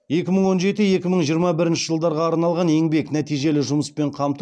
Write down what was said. екі мың он жеті екі мың жиырма бірінші жылдарға арналған еңбек нәтижелі жұмыспен қамту